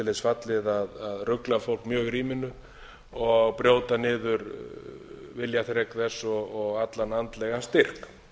þess fallið að rugla fólk mjög í ríminu og brjóta niður viljaþrek þess og allan andlegan styrk